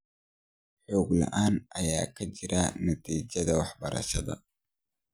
Xog la�aan ayaa ka jirta natiijada waxbarashada .